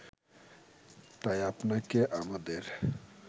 তাই আপনাকে আমাদের